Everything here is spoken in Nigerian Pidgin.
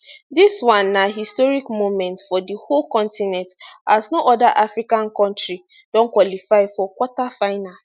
dis na one historic moment for di whole continent as no oda africa kontri don qualify for quarter final